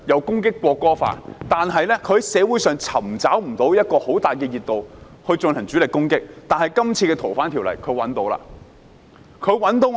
他們之前無法在社會上尋找很大的熱度來進行主力攻擊，但他們這次在《條例草案》引起熱度。